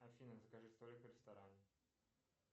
афина закажи столик в ресторане